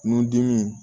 Nun dimi